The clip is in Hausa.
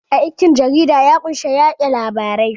Aikin jarida ya kunshi yaɗa labarai